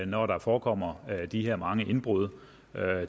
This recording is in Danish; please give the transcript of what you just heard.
når der forekommer de her mange indbrud